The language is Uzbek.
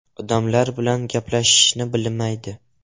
“Odamlar bilan gaplashishni bilmaydi.